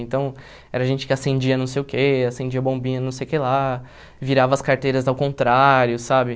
Então, era gente que acendia não sei o quê, acendia bombinha não sei o que lá, virava as carteiras ao contrário, sabe?